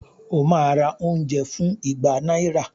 Ó ma ra oúnjẹ fún ìgbà náírà